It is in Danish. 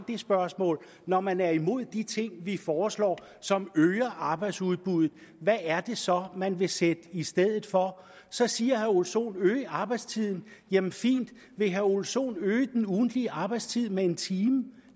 det spørgsmål når man er imod de ting vi foreslår som øger arbejdsudbuddet hvad er det så man vil sætte i stedet for så siger herre ole sohn at øge arbejdstiden jamen fint hvis herre ole sohn vil øge den ugentlige arbejdstid med en time